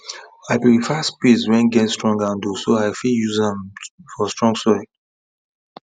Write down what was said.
i prefare spade wen get strong handle so i fit use am for strong soil